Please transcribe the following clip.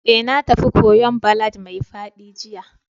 Eh, na tafi kwoyo'n ballad mai faɗi jiya.